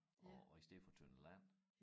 Og og i stedet for tønder land